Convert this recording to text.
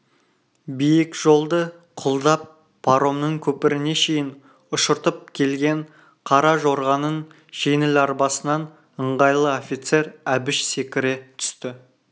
биік жолды құлдап паромның көпіріне шейін ұшыртып келген қара жорғаның жеңіл арбасынан ыңғайлы офицер әбіш секіре түсті